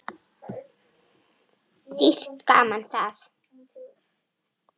Dýrt gaman það.